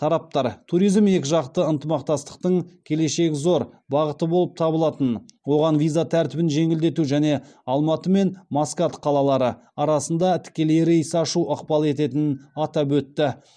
тараптар туризм екіжақты ынтымақтастықтың келешегі зор бағыты болып табылатынын оған виза тәртібін жеңілдету және алматы мен маскат қалалары арасында тікелей рейс ашу ықпал ететінін атап өтті